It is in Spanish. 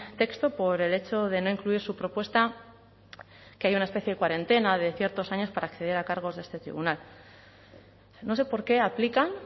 texto por el hecho de no incluir su propuesta que haya una especie de cuarentena de ciertos años para acceder a cargos de este tribunal no sé por qué aplican